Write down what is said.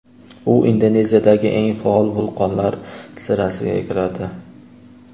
U Indoneziyadagi eng faol vulqonlar sirasiga kiradi.